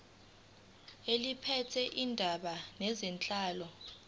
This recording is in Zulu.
eliphethe izindaba zenhlalo